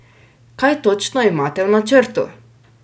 Kaj točno imate v načrtu?